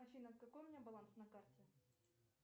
афина какой у меня баланс на карте